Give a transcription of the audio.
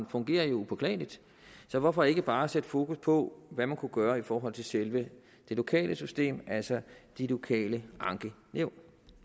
fungerer jo upåklageligt så hvorfor ikke bare sætte fokus på hvad man kunne gøre i forhold til selve det lokale system altså de lokale ankenævn